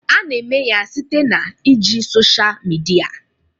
A na-eme ya site na iji social media